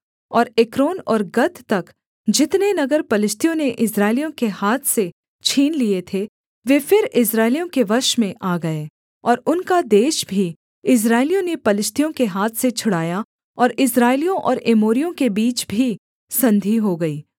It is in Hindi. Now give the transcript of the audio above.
और एक्रोन और गत तक जितने नगर पलिश्तियों ने इस्राएलियों के हाथ से छीन लिए थे वे फिर इस्राएलियों के वश में आ गए और उनका देश भी इस्राएलियों ने पलिश्तियों के हाथ से छुड़ाया और इस्राएलियों और एमोरियों के बीच भी संधि हो गई